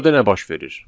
Burada nə baş verir?